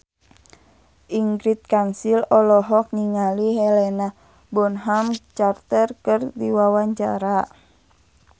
Ingrid Kansil olohok ningali Helena Bonham Carter keur diwawancara